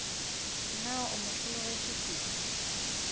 na o mo hlologetše kodu